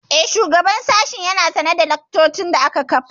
Eh, shugaban sashen ya na sane da laccocin da aka kafa